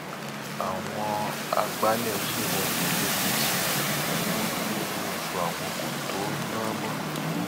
àwọn àgbálẹ ṣèwọde lẹkìtì wọn lowó oṣù àwọn kó tóó ná mọ